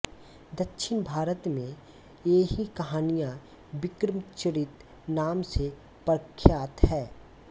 दक्षिण भारत में ये ही कहानियाँ विक्रमचरित नाम से प्रख्यात हैं